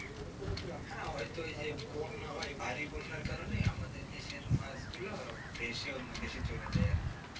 আমি শুনেছিলাম ছয় সাত মাস এগে, হ্যাঁ ঐতো ঐ যে বন্যা হয় ভারী বন্যা কারণে আমাদের দেশের মাছগুলো ভেসে অন্য দেশে চলে যায় আর কি.